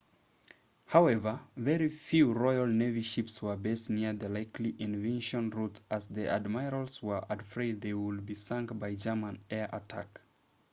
however very few royal navy ships were based near the likely invasion routes as the admirals were afraid they would be sunk by german air attack